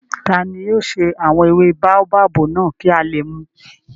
Tani yóò ṣe àwọn ewé báóbábù náà kí a lè mùú?